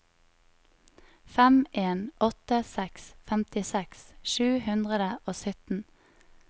fem en åtte seks femtiseks sju hundre og sytten